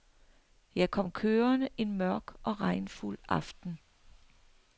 Jeg kom kørende en mørk og regnfuld aften.